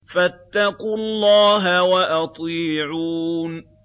فَاتَّقُوا اللَّهَ وَأَطِيعُونِ